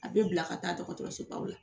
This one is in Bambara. A bɛ bila ka taa dɔgɔtɔrɔsobaw la